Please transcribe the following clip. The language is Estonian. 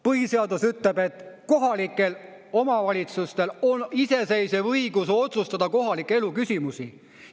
Põhiseadus ütleb, et kohalikel omavalitsustel on iseseisev õigus otsustada kohaliku elu küsimusi.